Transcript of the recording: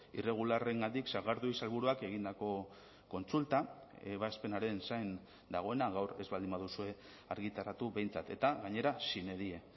irregularrengatik sagardui sailburuak egindako kontsulta ebazpenaren zain dagoena gaur ez baldin baduzue argitaratu behintzat eta gainera sine die